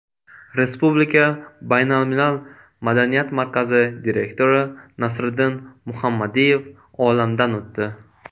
Respublika baynalmilal madaniyat markazi direktori Nasriddin Muhammadiyev olamdan o‘tdi .